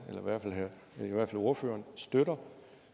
eller i hvert fald ordføreren støtter